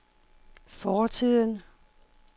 fortiden